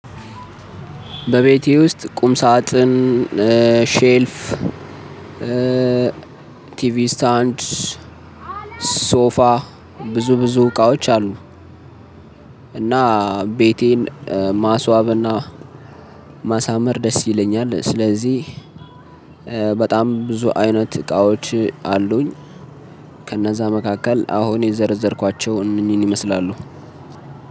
በቤቴ ውስጥ ቁም ሳጥን ሼልፍ ቲቪ ስታንድ ሶፋ ብዙ ብዙ እቃዎች አሉ። እና ቤተን ማስዋብ ና ማሳመር ደስ ይለኛል። ስለዚህ በጣም ብዙ አይነት እቃዎች አሉኝ። ከነዛ መካከል አሁን የዘርዘርኩአቸው እንህን እንህን ይመስላሉ